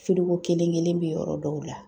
kelen-kelen bi yɔrɔ dɔw la